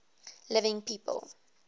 living people